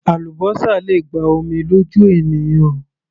Àlúbósà le gba omi lójú ènìyàn